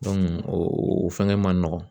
o fɛngɛ man nɔgɔn